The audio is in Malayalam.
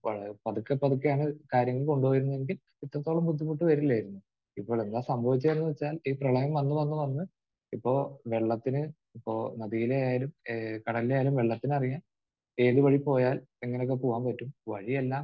വളർ...പതുക്കെ പതുക്കെയാണ് കാര്യങ്ങൾ കൊണ്ടുപോയിരുന്നതെങ്കിൽ ഇത്രത്തോളും ബുദ്ധിമുട്ട് വരില്ലായിരുന്നു. ഇപ്പോൾ എന്താണ് സംഭവിച്ചിരിക്കുന്നതെന്ന് വെച്ചാൽ ഈ പ്രളയം വന്ന് വന്ന് വന്ന് ഇപ്പോൾ വെള്ളത്തിന് ഇപ്പോൾ നദിയിലെ ആയാലും കടലിലെ ആയാലും വെള്ളത്തിനറിയാം ഏത് വഴി പോയാൽ എങ്ങനെയൊക്കെ പോകാൻ പറ്റും. വഴിയെല്ലാം